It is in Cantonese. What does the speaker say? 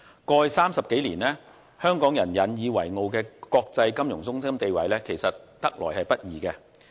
過去30多年，香港人引以為傲的國際金融中心地位其實是得來不易的。